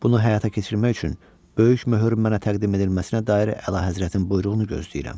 Bunu həyata keçirmək üçün böyük möhürün mənə təqdim edilməsinə dair əlahəzrətin buyruğunu gözləyirəm.